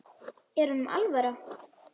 Er honum alvara?